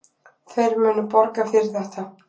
Þeir munu borga fyrir þetta.